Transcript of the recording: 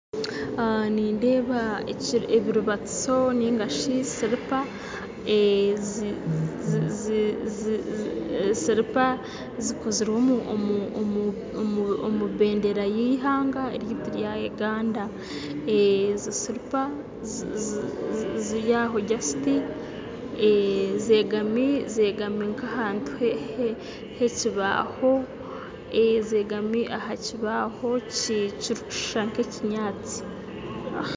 Nindeeba ebiribatiso nari silipa zikozirwe omu bendeera y'eihanga ryaitu rya Uganda, silipa zeegami aha kibaaho kirikushusha nk'enyatsi